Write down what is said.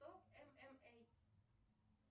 топ мма